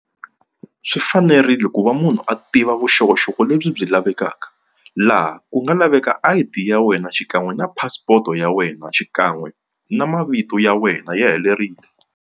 Swi fanerile ku va munhu a tiva vuxokoxoko lebyi byi lavekaka laha ku nga laveka I_D ya wena xikan'we na passport ya wena xikan'we na mavito ya wena ya helerile.